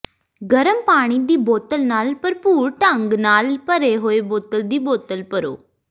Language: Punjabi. ਗਰਮ ਪਾਣੀ ਦੀ ਬੋਤਲ ਨਾਲ ਭਰਪੂਰ ਢੰਗ ਨਾਲ ਭਰੇ ਹੋਏ ਬੋਤਲ ਦੀ ਬੋਤਲ ਭਰੋ